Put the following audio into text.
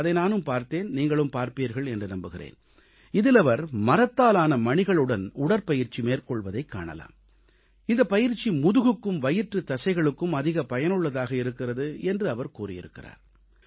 அதை நானும் பார்த்தேன் நீங்களும் பார்ப்பீர்கள் என்று நம்புகிறேன் இதில் அவர் மரத்தாலான மணிகளுடன் உடற்பயிற்சி மேற்கொள்வதைக் காணலாம் இந்தப் பயிற்சி முதுகுக்கும் வயிற்றுத் தசைகளுக்கும் அதிக பயனுள்ளதாக இருக்கிறது என்று அவர் கூறியிருக்கிறார்